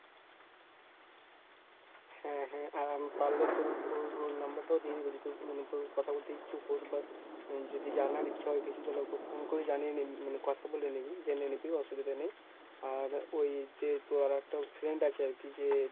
হ্যাঁ হ্যাঁ আর আমি পারলে তোর ও~ ওর number টাও দিয়ে দেব যেহেতু মানে তোর কথা বলতে ইচ্ছুক হোস বা হম যদি জানার ইচ্ছা হয় কিছু তাহলে ওকে phone করে জানিয়ে নে মানে কথা বলে নিবি জেনে নিবি। অসুবিধা নেই। আর ওই যে তোর আরেকটা friend আছে আরকি যে